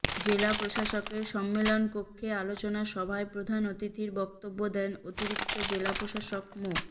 জেলা প্রশাসকের সম্মেলন কক্ষে আলোচনা সভায় প্রধান অতিথির বক্তব্য দেন অতিরিক্ত জেলা প্রশাসক মো